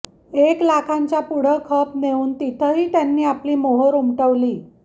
एक लाखांच्या पुढं खप नेऊन तिथंही त्यांनी आपली मोहोर उमटवली